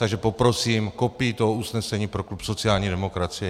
Takže poprosím kopii toho usnesení pro klub sociální demokracie.